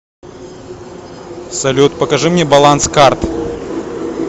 салют покажи мне баланс карт